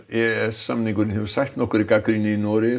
e s samningurinn hefur sætt nokkurri gagnrýni í Noregi